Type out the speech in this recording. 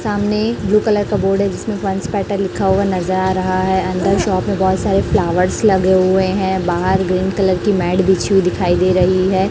सामने blue colour का board है जिस में बंश केटल लिख हुआ नज़र आ रहा है अंदर शॉप में बहुत सारे फ्लावर्स लगे हुए है बाहर ग्रीन कलर की मैट बिछी हुई दिखाई दे रही है।